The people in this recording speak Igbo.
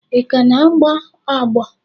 Ị ka na-agbọ agbọ?